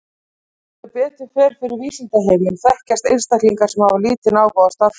Sem betur fer fyrir vísindaheiminn þekkjast einstaklingar sem hafa lítinn áhuga á stærðfræði.